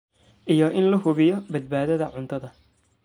iyo in la hubiyo badbaadada cuntada.